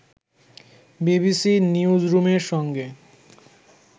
BBC নিউজরুমের সঙ্গে